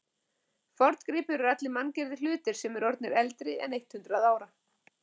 forngripir eru allir manngerðir hlutir sem eru orðnir eldri en eitt hundruð ára